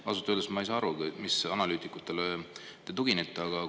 Ausalt öeldes ei saa ma aru, milliste analüütikute te tuginete.